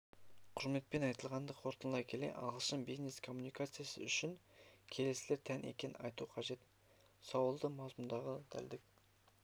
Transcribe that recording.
құрметпен айтылғанды қорытындылай келе ағылшын бизнес-коммуникациясы үшін келесілер тән екенін айту қажет сауалды мазмұндаудағы дәлдік